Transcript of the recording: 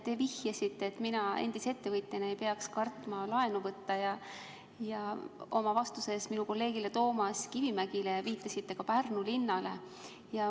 Te vihjasite, et mina endise ettevõtjana ei peaks kartma laenu võtta, ja oma vastuses minu kolleegile Toomas Kivimägile viitasite ka Pärnu linnale.